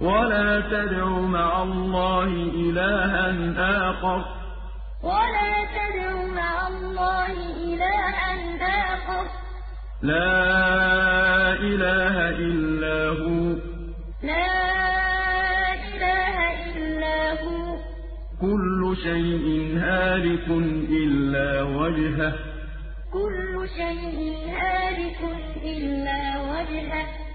وَلَا تَدْعُ مَعَ اللَّهِ إِلَٰهًا آخَرَ ۘ لَا إِلَٰهَ إِلَّا هُوَ ۚ كُلُّ شَيْءٍ هَالِكٌ إِلَّا وَجْهَهُ ۚ